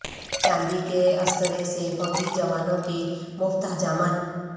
چاندی کے استرے سے فوجی جوانوں کی مفت حجامت